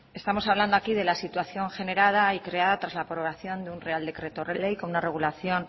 estamos hablando aquí de la situación generada y creada tras la aprobación de un real decreto ley con una regulación